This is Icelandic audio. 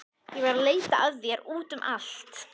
Ég var að leita að þér út um allt.